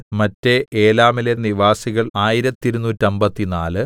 മറ്റെ ഏലാമിലെ നിവാസികൾ ആയിരത്തിരുനൂറ്റമ്പത്തിനാല്